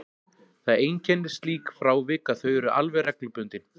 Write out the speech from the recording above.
Það einkennir slík frávik að þau eru alveg reglubundin.